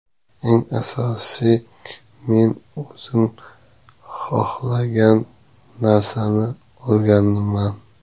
Eng asosiysi, men o‘zim xohlagan narsani olganman.